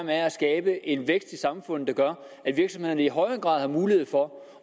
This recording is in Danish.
være at skabe en vækst i samfundet der gør at virksomhederne i højere grad har mulighed for